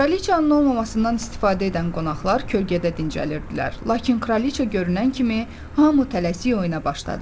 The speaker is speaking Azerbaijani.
Kraliçanın olmamasından istifadə edən qonaqlar kölgədə dincəlirdilər, lakin Kraliçea görünən kimi hamı tələsik oyuna başladı.